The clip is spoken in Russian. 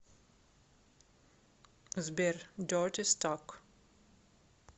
сбер дертистак